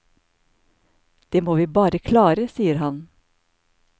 Det må vi bare klare, sier han.